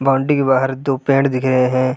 Boundary के बाहर दो पेड़ दिख रहे है।